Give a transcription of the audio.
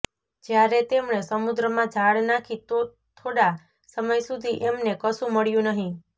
જયારે તેમણે સમુદ્રમાં જાળ નાખી તો થોડા સમય સુધી એમને કશું મળ્યું નહીં